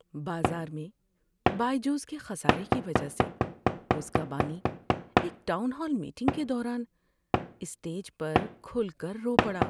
بازار میں بائجوز کے خسارے کی وجہ سے اس کا بانی ایک ٹاؤن ہال میٹنگ کے دوران اسٹیج پر کھل کر رو پڑا۔